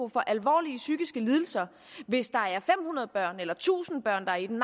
få alvorlige psykiske lidelser hvis der er fem hundrede børn eller tusind børn der er i den